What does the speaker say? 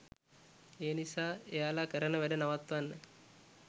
ඒ නිසා එයාලා කරන වැඩ නවත්වන්න